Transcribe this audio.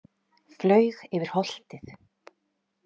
Flaug yfir holtið.